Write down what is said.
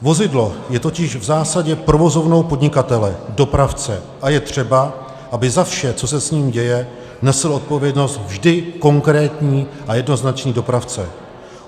Vozidlo je totiž v zásadě provozovnou podnikatele - dopravce a je třeba, aby za vše, co se s ním děje, nesl odpovědnost vždy konkrétní a jednoznačný dopravce.